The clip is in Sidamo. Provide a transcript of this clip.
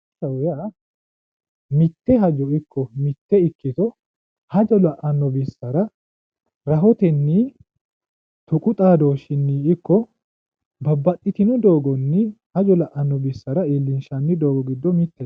Egenshiishshaho Yaa mite hajo iko mite ikkito hajo la'ano bi'sara rahoteni tuqqu xaadooshini iko babbaxitino doogoni hajo la'ano bi'sara illinshani doogo gido mitete